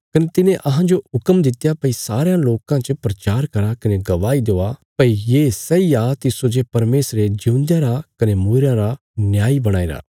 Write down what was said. कने तिने अहांजो हुक्म दित्या भई सारयां लोकां च प्रचार करा कने गवाही देआ भई ये सैई आ तिस्सो जे परमेशरे जिऊंदेयां रा कने मूईरयां रा न्यायी बणाईरा